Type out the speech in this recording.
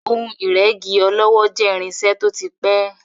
Ohun ìrẹ́gí ọlọ́wọ́ jẹ́ irinṣẹ́ tó ti pẹ́.